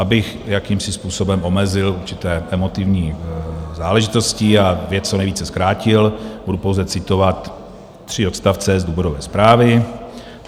Abych jakýmsi způsobem omezil určité emotivní záležitosti a věc co nejvíce zkrátil, budu pouze citovat tři odstavce z důvodové zprávy.